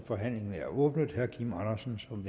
forhandlingen er åbnet herre kim andersen som